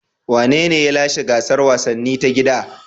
Wanene ya lashe gasar wasanni ta gida?